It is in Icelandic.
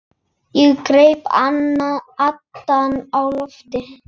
Ég greip andann á lofti.